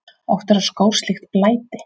Oft verða skór slíkt blæti.